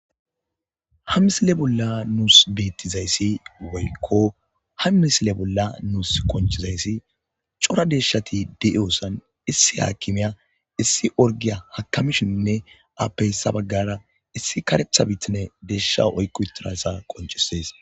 Ha misile bolla nuus beettizayssi woykko ha misile bolla nuus konchizayssi cora deshshati de'iyoosan issi haakimiya issi orgiya hakamishinnne appeyssa baggara issi karetha biitine deesha oyqu tirassa qonchisees.